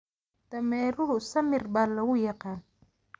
Dameeruhu samir baa lagu yaqaan.